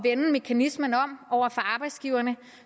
at vende mekanismen om over for arbejdsgiverne